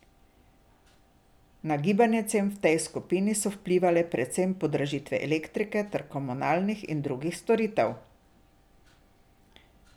Na gibanje cen v tej skupini so vplivale predvsem podražitve elektrike ter komunalnih in drugih storitev.